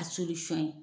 A fɛn ye